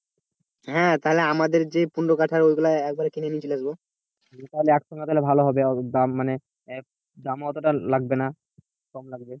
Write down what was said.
হ্যাঁ তাহলে আমাদের যে পনের কাঠার ওইগুলো একবারে কিনে নিয়ে চলে আসবো তাহলে একসঙ্গে তাহলে ভালো হবে দাম মানে দাম ওতটা লাগবে না কম লাগবে।